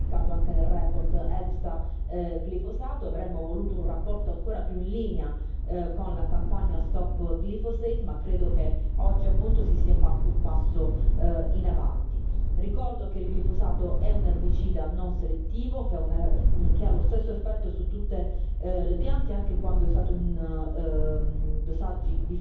Avremmo voluto una relazione ancora più in linea con la campagna Stop Glyphosate, ma credo che oggi, appunto, si sia fatto un passo in avanti. Ricordo che il glifosato è un erbicida non selettivo, che ha lo stesso effetto su tutte le piante, anche quando è usato in dosaggi differenti, che non si disperde e non decade facilmente.